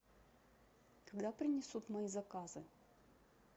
когда принесут мои заказы